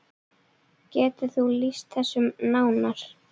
Getur þú lýst þessu nánar?